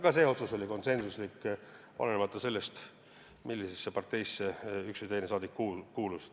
Ka see otsus oli konsensuslik, olenemata sellest, millisesse parteisse üks või teine rahvasaadik kuulus.